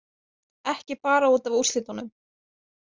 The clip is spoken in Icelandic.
Ekki bara út af úrslitunum